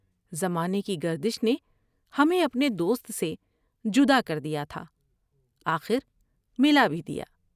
زمانے کی گردش نے ہمیں اپنے دوست سے جدا کر دیا تھا آخر ملا بھی دیا ۔